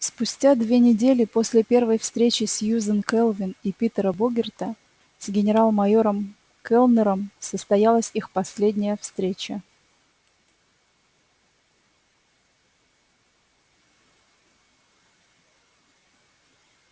спустя две недели после первой встречи сьюзен кэлвин и питера богерта с генерал майором кэллнером состоялась их последняя встреча